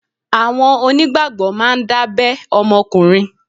Àwọn onígbàgbọ́ máa ń dábẹ́ ọmọkùnrin.